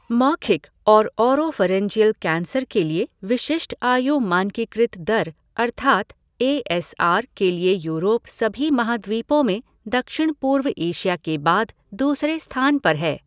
मौखिक और oropharyngeal cancer के लिए विशिष्ट आयु मानकीकृत दर अर्थात् ए एस आर के लिए यूरोप सभी महाद्वीपों में दक्षिण पूर्व एशिया के बाद दूसरे स्थान पर है।